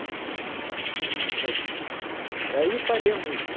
Mentira, não é infelizmente, mas... Daí eu parei a música.